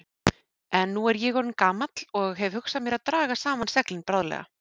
En nú er ég orðinn gamall og hef hugsað mér að draga saman seglin bráðlega.